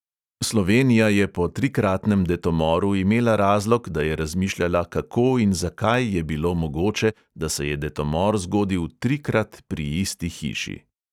Slovenija je po trikratnem detomoru imela razlog, da je razmišljala, kako in zakaj je bilo mogoče, da se je detomor zgodil trikrat pri isti hiši.